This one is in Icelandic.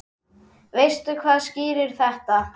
Veistu hvað skýrir þetta?